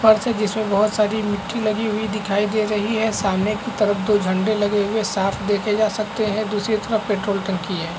है जिसमें बहुत सारी मिट्टी लगी हुई दिखाई दे रही है सामने एक तरफ दो झेंडे लगे हुए साफ़ देखे जा सकते हैं दुसरे तरफ पेट्रोल टंकी है।